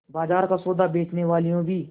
बाजार का सौदा बेचनेवालियॉँ भी